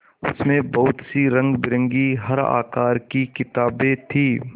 उसमें बहुत सी रंगबिरंगी हर आकार की किताबें थीं